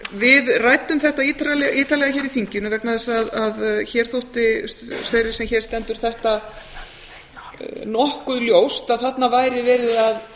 við ræddum þetta ítarlega hér í þinginu vegna þess að hér þótti þeirri sem hér stendur nokkuð ljóst að þarna væri verið að